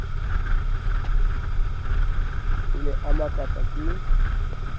o ne a makatswa ke